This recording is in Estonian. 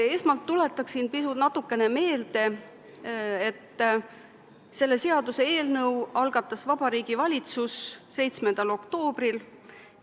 Esmalt tuletan meelde, et selle seaduseelnõu algatas Vabariigi Valitsus 7. oktoobril.